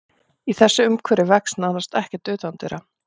Í þessu umhverfi vex nánast ekkert utandyra.